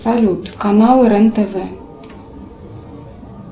салют каналы рен тв